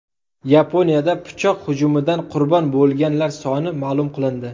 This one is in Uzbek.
Yaponiyada pichoq hujumidan qurbon bo‘lganlar soni ma’lum qilindi.